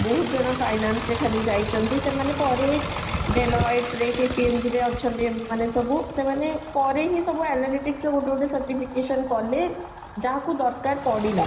ବହୁତ ଜଣ finance ରେ ଖାଲି ଯାଇଛନ୍ତି ସେମାନେ ପରେ ରେ କି PMG ରେ ଅଛନ୍ତି ମ ମାନେ ସବୁ ସେମାନେ ପରେ ହିଁ ସବୁ analytics ର ଗୋଟେ ଗୋଟେ certification କଲେ, ଯାହା କୁ ଦରକାର ପଡିଲା